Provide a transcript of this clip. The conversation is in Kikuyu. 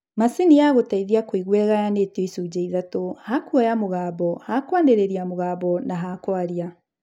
Macini ya gũteithia kũigua ĩgayanĩtio icunjĩ ithatu: ha kuoya mũgambo, ha kwanĩrĩria mũgambo na ha kwaria